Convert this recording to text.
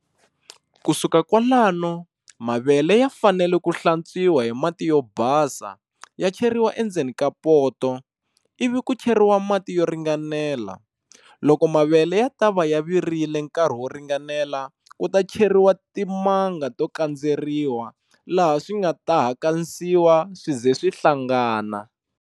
Ku suka kwalanu mavele ya fanele ku hlantswiwa hi mati yo basa ya cheriwa endzeni ka poto, ivi ku cheriwa mati yo ringanela. Loko mavele ya tava ya virile nkarhi wo ringanela ku ta cheriwa timanga to kandzeriwa laha swi nga ta hakasiwa swize swi hlangana.